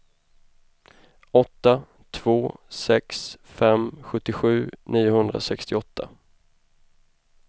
åtta två sex fem sjuttiosju niohundrasextioåtta